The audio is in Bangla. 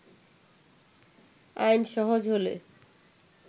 আইন সহজ হলে